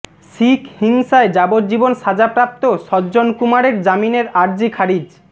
শিখ হিংসায় যাবজ্জীবন সাজাপ্রাপ্ত সজ্জন কুমারের জামিনের আর্জি খারিজ